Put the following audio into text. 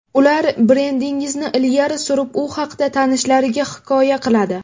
Ular brendingizni ilgari surib, u haqda tanishlariga hikoya qiladi.